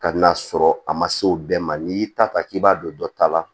Ka n'a sɔrɔ a ma se o bɛɛ ma n'i y'i ta ta k'i b'a don dɔ ta la